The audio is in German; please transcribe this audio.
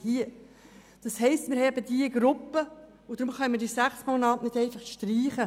Das heisst, wir haben diese Gruppe, und deshalb können wir die sechs Monate nicht einfach streichen.